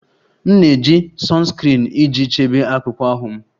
M na-eji sunscreen iji chebe akpụkpọ ahụ m